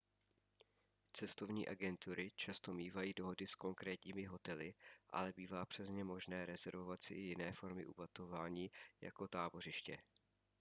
cestovní agentury často mívají dohody s konkrétními hotely ale bývá přes ně možné rezervovat si i jiné formy ubytování jako tábořiště